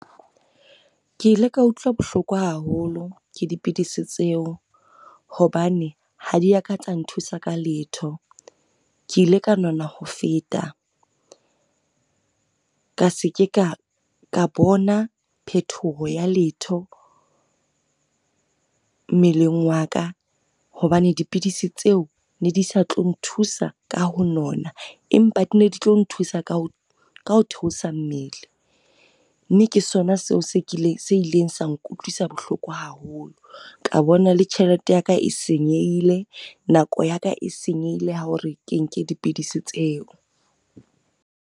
Ke ile ka utlwa bohloko haholo ke dipidisi tseo, hobane ha di ya ka tsa nthusa ka letho. Ke ile ka nona ho feta. Ka se ke ka bona phetoho ya letho, mmeleng wa ka hobane dipidisi tseo ne di sa tlo nthusa ka ho nona empa di ne di tlo nthusa ka ho theosa mmele. Mme ke sona seo se kileng, se ileng sa nkutlwisa bohloko haholo. Ka bona le tjhelete ya ka e senyehile, nako ya ka e senyehile ya hore ke nke dipidisi tseo.